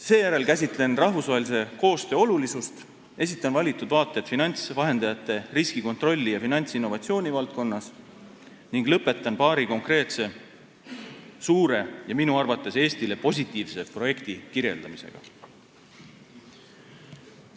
Seejärel käsitlen rahvusvahelise koostöö olulisust, esitan valitud vaateid finantsvahendajate riskikontrolli ja finantsinnovatsiooni valdkonnast ning lõpetan paari konkreetse suure ja minu arvates Eestile positiivse projekti kirjeldamisega.